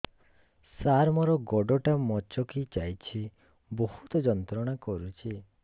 ସାର ମୋର ଗୋଡ ଟା ମଛକି ଯାଇଛି ବହୁତ ଯନ୍ତ୍ରଣା କରୁଛି